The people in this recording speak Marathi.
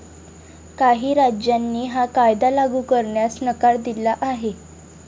काही राज्यांनी हा कायदा लागू करण्यास नकार दिला आहे.